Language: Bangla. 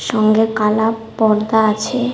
সঙ্গে কালা পর্দা আছে।